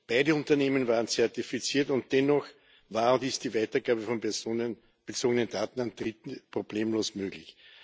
Beide Unternehmen waren zertifiziert, und dennoch war und ist die Weitergabe von personenbezogenen Daten an Dritte problemlos möglich.